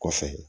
Kɔfɛ